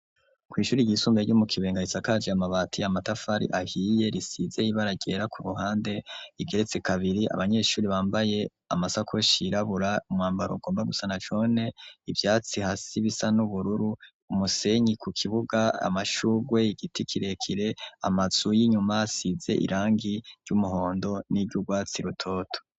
Kw'ishuri ryisumbee ryo mu kibenga risakaja yamabati yamatafari ahiye risizeye baragera ku ruhande igeretse kabiri abanyeshuri bambaye amasako shirabura umwambaro ugomba gusana jone ivyatsi hasi bisa n'ubururu umusenyi ku kibuga amashugwe igiti kirekire amasu y'inyuma asize irangi gi ry'umuhondo n'iryo urwatsi rutoto.